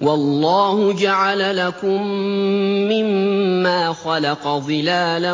وَاللَّهُ جَعَلَ لَكُم مِّمَّا خَلَقَ ظِلَالًا